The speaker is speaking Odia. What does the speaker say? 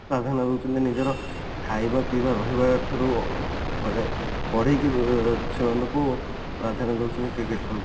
ପ୍ରାଧାନ୍ୟ ଦଉଛନ୍ତି ନିଜର ଖାଇବା ପିଇବା ଠାରୁ ମାନେ ପରେ ବି ସେମାନଙ୍କୁ ପ୍ରାଧାନ୍ୟ ଦଉଛନ୍ତି